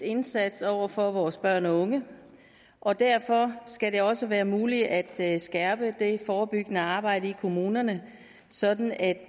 indsats over for vores børn og unge og derfor skal det også være muligt at skærpe det forebyggende arbejde i kommunerne sådan at